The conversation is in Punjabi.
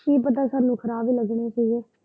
ਕਿ ਪਤਾ ਸਾਨੂੰ ਖੁਰਾਕ ਲੱਗਣੀ ਸਹੀ।